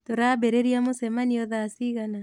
Tũrambĩrĩria mũcemanio thaa cigana